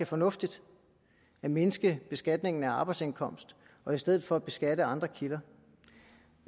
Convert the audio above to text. fornuftigt at mindske beskatningen af arbejdsindkomst og i stedet for beskatte andre kilder